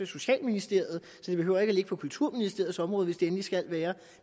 socialministeriet så det behøver ikke at ligge på kulturministeriets område hvis det endelig skal være